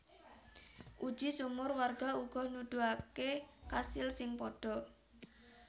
Uji sumur warga uga nuduhaké kasil sing padha